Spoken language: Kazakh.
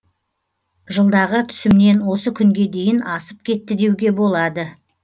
жылдағы түсімнен осы күнге дейін асып кетті деуге болады